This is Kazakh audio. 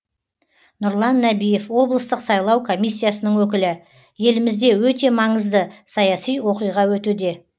нұрлан нәбиев облыстық сайлау комиссиясының өкілі елімізде өте маңызды саяси оқиға өтуде